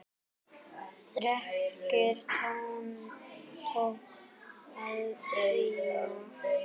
Þrekið tók að dvína.